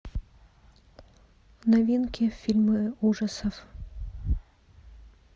новинки фильмы ужасов